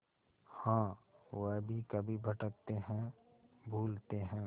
हाँ वह भी कभी भटकते हैं भूलते हैं